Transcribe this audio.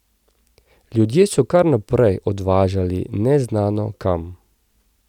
Ljudi so kar naprej odvažali neznano kam.